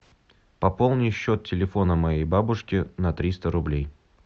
пополни счет телефона моей бабушки на триста рублей